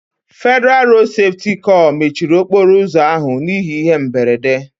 Federalụ Rodu Sefuti kor mechiri okporo ụzọ ahụ n'ihi ihe mberede